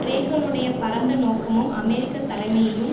றேகனுடைய பரந்த நோக்கமும் அமெரிக்க தலைமையும்